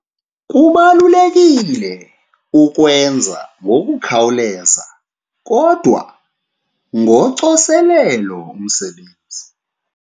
Kubalulekile ukuwenza ngokukhawuleza kodwa ngocoselelo umsebenzi.